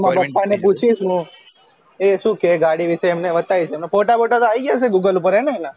મારા પાપા ને પુચીસ હુ એ શું કહે ગાડી વિષે એમને વાતાયીસ photo voto યી ગયા હશે ને google ઉપર હે ને